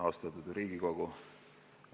Austatud Riigikogu!